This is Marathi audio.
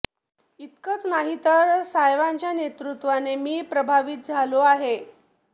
इतकंच नाही तर साहेबांच्या नेतृत्वाने मी प्रभावित झालो आहे